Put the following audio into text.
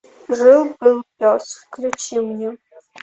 жил был пес включи мне